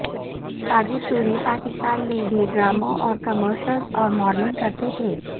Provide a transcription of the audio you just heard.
ساجد طوری پاکستان میں بھی ڈراموں اور کمرشلز اور ماڈلنگ کرتے تھے